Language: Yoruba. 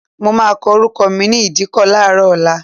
Mo máa kọ orúkọ mi ní ìdíkọ̀ láàárọ̀ ọ̀la.